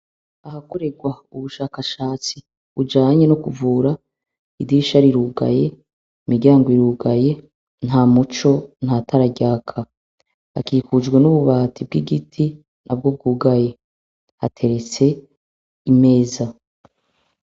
Ahakoregwa ubushakashatsi bujanye nukuvura, idirisha rirugaye, imiryango irugaye, nta muco, ntatara ryaka hakikujwe n'ububati bw' igiti nabwo bwugaye, haterets' imeza